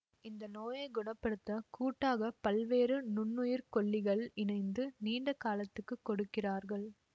இந்த நோயை குண படுத்த கூட்டாக பல்வேறு நுண்ணுயிர்கொல்லிகள் இணைத்து நீண்ட காலத்துக்கு கொடுக்கிறார்கள்